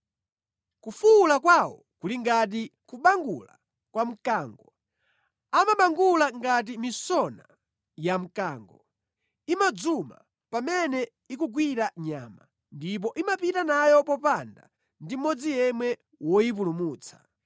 Kufuwula kwawo kuli ngati kubangula kwa mkango, amabangula ngati misona ya mkango; imadzuma pamene ikugwira nyama ndipo imapita nayo popanda ndi mmodzi yemwe woyipulumutsa.